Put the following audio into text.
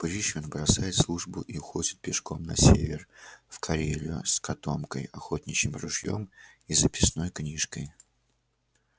пришвин бросает службу и уходит пешком на север в карелию с котомкой охотничьим ружьём и записной книжкой